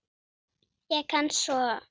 Ég kann svo